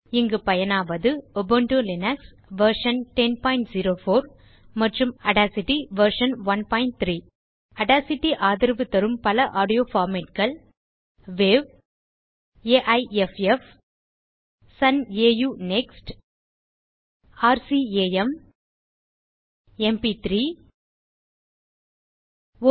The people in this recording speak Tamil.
இங்கு பயனாவது உபுண்டு லினக்ஸ் வெர்ஷன் 1004 மற்றும் ஆடாசிட்டி வெர்ஷன் 13 ஆடாசிட்டி ஆதரவு தரும் பல ஆடியோ formats வாவ் AIFF Sun AU NeXT IRCAM Institut de Recherche et Coordination acoustic music MP three MPEG I layer 3 export requires separate encoder